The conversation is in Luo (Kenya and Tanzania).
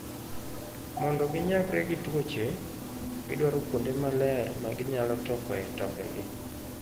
Mondo ginyagre gi tuoche, gidwaro kuonde maler ma ginyalo tokoe tongegi.